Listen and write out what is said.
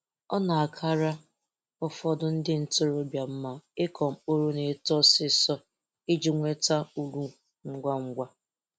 O na-akara ụfọdụ ndị ntorobia mma ịkọ mkpụrụ na-eto ọsịsọ iji nweta uru ngwangwa